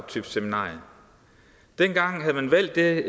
type seminarium dengang havde man valgt det